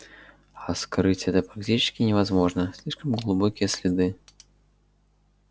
а скрыть это практически невозможно слишком глубокие следы